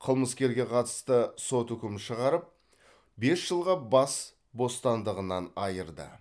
қылмыскерге қатысты сот үкім шығарып бес жылға бас бостандығынан айырды